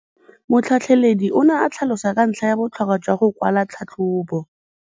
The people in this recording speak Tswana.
Motlhatlheledi o ne a tlhalosa ka ntlha ya botlhokwa jwa go kwala tlhatlhôbô.